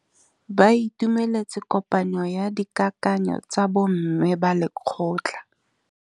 Ba itumeletse kôpanyo ya dikakanyô tsa bo mme ba lekgotla.